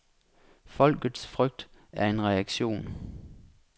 Folkets frygt er en reaktion.